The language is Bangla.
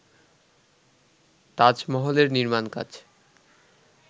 তাজমহলের নির্মাণকাজ